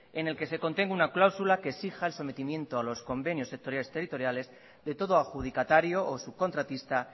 en el que se contenga una cláusula que exija el sometimiento a los convenios sectoriales territoriales de todo adjudicatario o subcontratista